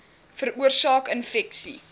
veroorsaak infeksie